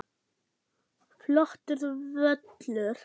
Flottur völlur.